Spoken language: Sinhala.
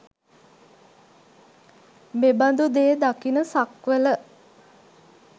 මෙබඳු දේ දකින සක්වළ